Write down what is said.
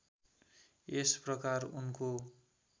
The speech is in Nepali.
यस प्रकार उनको